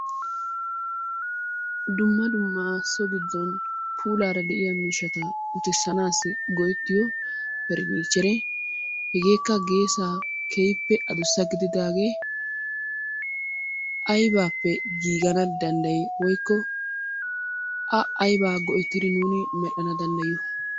Dumma dumma so giddon puulara de'iyaa miishshata uttisanassi go"ettiyo faranichere hegekka geessaa keehippe addussa gididaage aybbappe giigana dandday? Woykko A aybba go"ettidi nu medhdhana danddayiyo?